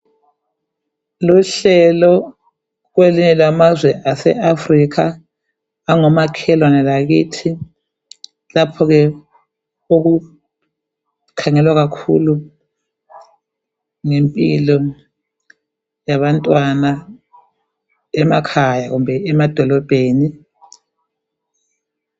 Luhlelo kwelinye lamazwe ase Afrikha ongamakhelwane lakithi, lapho ke okukhangelwa kakhulu ngempilo zabantwana emakhaya kumbe emadolobheni